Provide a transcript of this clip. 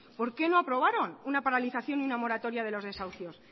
por qué no aprobaron una paralización y una moratoria de los desahucios